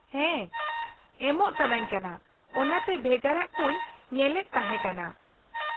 ᱦᱮᱸ ᱮᱢᱚᱜ ᱥᱟᱱᱟᱧ ᱠᱟᱱᱟ, ᱚᱱᱟᱛᱮ ᱵᱷᱮᱜᱟᱨᱟᱜ ᱠᱚᱧ ᱧᱮᱞᱮᱫ ᱛᱟᱦᱮᱸ ᱠᱟᱱᱟ ᱾